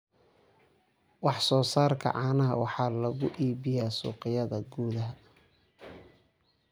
Wax soo saarka caanaha waxaa lagu iibiyaa suuqyada gudaha.